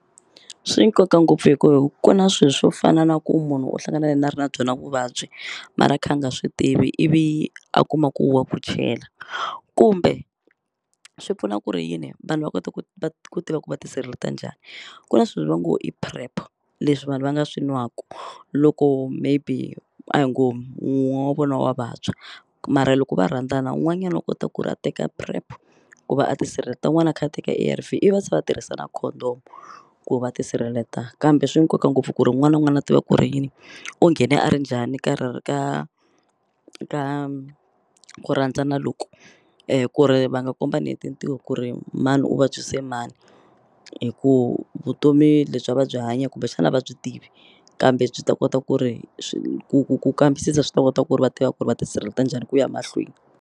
Swi nkoka ngopfu hi ku ku na swi swo fana na ku munhu u hlangane na ri na byona vuvabyi mara a kha a nga swi tivi ivi a kuma ku wa ku chela kumbe swi pfuna ku ri yini vanhu va kota ku ku tiva ku va tisirheleta njhani ku na swilo va ngo i PREP leswi vanhu va nga swi nwaku loko maybe a hi ngo wun'we wa vona wa vabya mara loko va rhandzana wun'wanyani wa kota ku ri a teka PREP ku va a tisirheleta wun'wana a kha a teka A_R_V ivi va tshe va tirhisa na condom ku va ti sirheleta kambe swi nkoka ngopfu ku ri wun'wana n'wana a tiva ku ri yini u nghene a ri njhani ka ka ka ku rhandzana loku ku ri va nga kombani hi tintiho ku ri mani u vabyise mani hi ku vutomi lebyi a va byi hanya kumbexani a va byi tivi kambe byi ta kota ku ri ku ku ku ku kambisisa swi ta kota ku ri va tiva ku ri va tisirheleta njhani ku ya mahlweni.